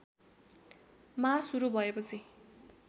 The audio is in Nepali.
मा सुरु भएपछि